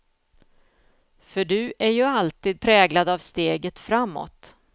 För du är ju alltid präglad av steget framåt.